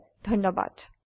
অংশগ্ৰহনৰ বাবে ধন্যবাদ